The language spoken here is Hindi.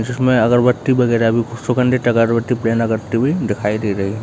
इसमें अगरबत्ती वगैरा भी सुगन्धित अगरबत्ती प्रेरणा करती हुई दिखाई दे रही है।